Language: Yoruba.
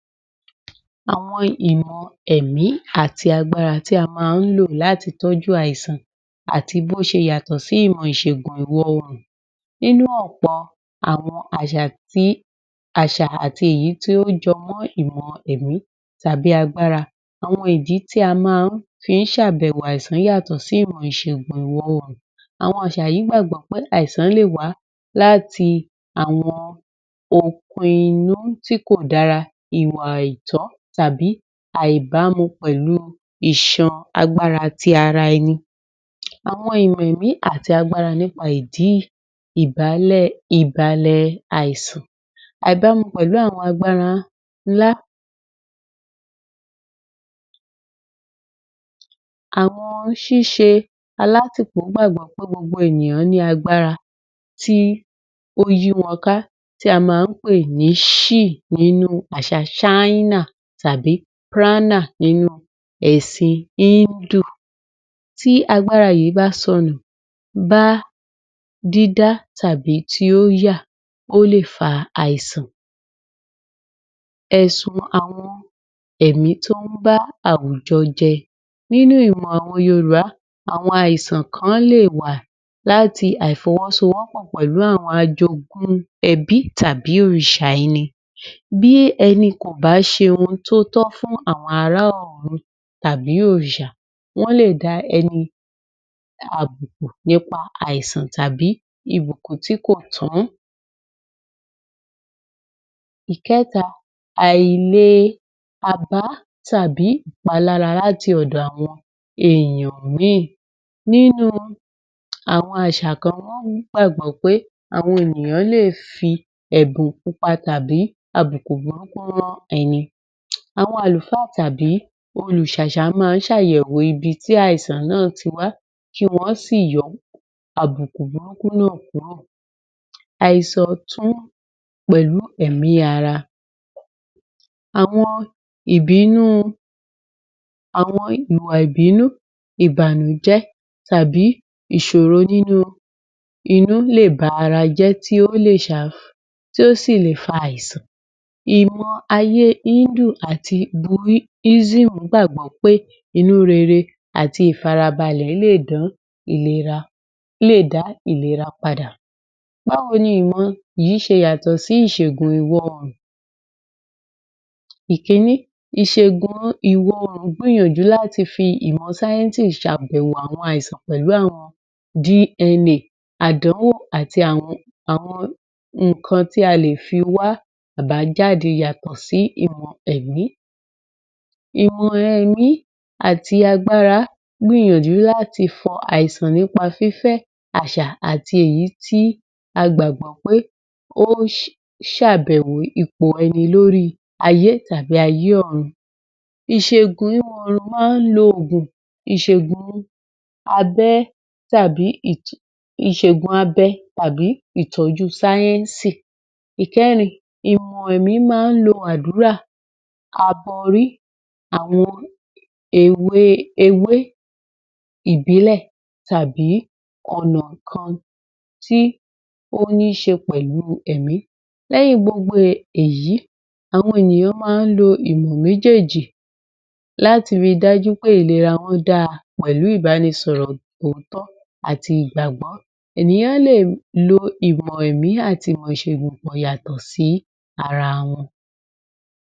Àwọn ìmọ̀ ẹ̀mí àti agbára tí a máa lò láti tọ́jú àìsàn àti bọ́ ṣe yàtọ̀ sí ìmọ̀ ìṣẹ̀gùn ìwọ̀ òòrùn nínú ọ̀pọ̀ àwọn àṣà àti èyí tí ọ́ jọ mọ́ ìmọ̀ ẹ̀mí àti agbára àwọn ìdí tí a máa ń fihún ṣe àbẹ̀wò àìsàn yàtọ̀ sí ìmọ ìṣẹ̀gùn ìwọ̀ òòrùn àwọn àṣà yìí gbàgbọ́ pé àìsàn yíì leè wá láti àwọn okun inú tí kò dára ìwà àìtó tàbí àìbámu pẹ̀lú iṣan agbára tí ara ẹni àwọn ìmọ̀ ẹ̀mí àti agbára nípa ìdí yìí ìbalẹ̀ ìbalè àìsàn àìbámu pẹ̀lú àwọn agbára nlá àwọn ṣíṣe alátìpó gbàgbọ́ pé gbogbo ènìyàn ní agbára tí ó yí won ká tí a máa pè ní she nínú àṣà ṣáínà tàbí píráínà nínú èsìn Hindu tí agbára yìí bá sonù bá dídá tàbí tí ó yà o le fa àisàn ẹ̀sùn àwọn èmí tón ún bá àwujọ jẹ nínú ìmọ̀ àwọn yorùbá àwọn àìsàn kan lẹ́ẹ̀wà lá láti àìfọwọ́so wópò pẹ̀lú àwọn àjogún ẹbí tàbí òrìsà ẹni bí ẹní kò bá ṣe ohun tótọ́ fún àwọn ará ọ̀run tàbí òòsà wón lẹ da ẹni náà lábùkù nípa àìsàn tàbí ìbùkún tí kò tán ìkẹta àilè àbá tàbí ìpalára láti ọ̀dọ̀ àwọn èèyàn míì nínú nínú àwọn àṣà kan wọn ọ̀ ní gbàgbọ́ pé àwọn ènìyàn lẹ fi ẹ̀bùn pupa tàbí àbùkù burúkú rán ẹni àwọn àlùfáà tàbí olúsásá máa ń ṣe àyẹ̀wò ibi àìsàn náà tí wà kí wọ́n sí yo àbùkù burúkú náà kúrò àiṣọ̀rọ̀ tún pẹ̀lú ẹ̀mí ara àwọn ìbínú àwọn ìwà ìbínú ìbànújẹ tàbí ìṣòro nínú inú leè bá ara jẹ́ tí ósì le fa àisàn Ìmọ̀ ayé Hindu àti buísírù gbàgbọ́ pé Inú rere àti ìfarabalẹ̀ le dán ìlera, le dá ìlera padà báwo ni ìmọ̀ ìṣẹ̀gùn yìí ṣe yàtọ̀ sí ìmọ̀ ìṣẹ̀gùn ìwò oòrùn? Èkíní ìṣẹ̀gùn ìwò òòrùn gbìyànjú láti fi ìmọ̀ sáyẹ́nsì sàbèwò àwọn àìsàn pèlú àwọn DNA àdánwò àti àwọn ìkan tí ale fi wá àbájáde yàtọ̀ sí ìmọ̀ èmí ìmọ̀ èmí àti agbára gbára gbìyànjú láti fọ àìsàn nípa fífẹ́ àṣà àti èyí tí a gbágbò pé ose sabèwò ipò ẹni lórí ayé tàbí ayé òrun ìṣẹ̀gùn ìṣẹ̀gùn abẹ́ tàbí ètò ìṣẹ̀gùn abẹ tàbí ìtọjú sáyẹ̀nsì. Ìkẹ́rin ìmọ̀ èmí máa ń lo ádùrá abọrí àwọn ewé ìbílè tàbí ọ̀nà kan tí oníṣe pẹ̀lú èmí léyìn gbogbo èyí àwọn ènìyàn máa ń lò ìmọ̀ méjèjì láti ríI pé ìlera wón dáa pẹ̀lú ìbánisọrọ̀ òótọ́ àti ìgbàgbọ́ ènìyàn leè lo ìmọ̀ èmí àti ìmọ̀ ìṣẹ̀gùn pọ̀ yàtọ̀ sí ara wọn.